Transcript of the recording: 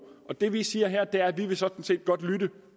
det vi siger her er at vi sådan set godt vil